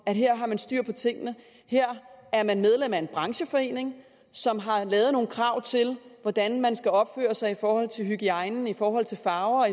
at her har man styr på tingene at her er man medlem af en brancheforening som har lavet nogle krav til hvordan man skal opføre sig i forhold til hygiejne i forhold til farver